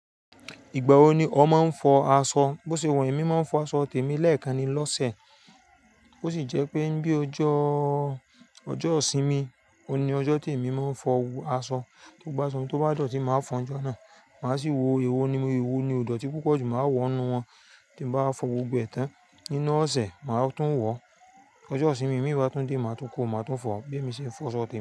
Ìgbà wo ni ọ máa ń fọ aṣọ? Bo ṣe wa emi máa ń fọ aṣọ tèmi lẹ́ẹ̀kan ni lọ́sẹ̀. Ó sì jẹ́ pé bí ojó ìsinmi, òun ni ọjọ́ tí èmi máa ń fọ aṣọ. Gbogbo aṣọ tó bá dọ̀tí máa fọ lọ́jọ́ náà. Màá sì wo èwo ni, èwo ni òdòtí púpọ̀ jù máa wọ nínú wọn tí n báa fọ gbogbo ẹ̀ẹ̀tán nínú ọ̀sẹ̀ máa tún wọ̀. Ojọ́ ìsinmi, mi bá tún dé, màá tún kó, màá tún fọ bí èmi ṣe ń fọ aṣọ tèmi.